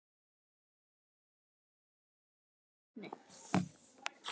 Kaprasíus, hvað heitir þú fullu nafni?